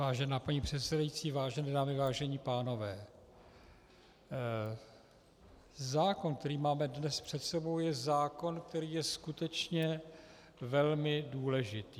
Vážená paní předsedající, vážené dámy, vážení pánové, zákon, který máme dnes před sebou, je zákon, který je skutečně velmi důležitý.